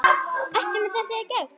Ertu með þessi gögn?